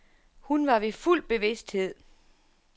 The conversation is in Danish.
Hun var ved fuld bevidsthed.